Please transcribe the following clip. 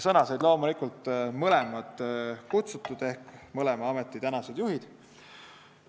Sõna said loomulikult mõlemad kutsutud ehk mõlema ameti tänased juhid.